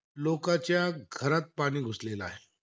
लोकांच्या घरात पाणी घुसलेला आहे.